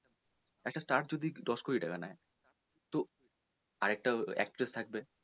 একটা star যদি দশ কোটি টাকা নেয় তো আরেকটা actress থাকবে,